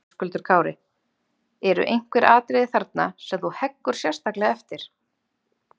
Höskuldur Kári: Eru einhver atriði þarna sem þú heggur sérstaklega eftir?